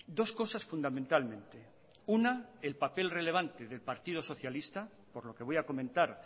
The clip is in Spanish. dos cosas fundamentalmente una el papel relevante del partido socialista por lo que voy a comentar